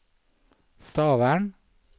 Stavern